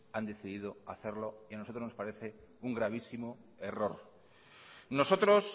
han decidido hacerlo y a nosotros nos parece un gravísimo error nosotros